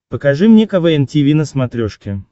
покажи мне квн тиви на смотрешке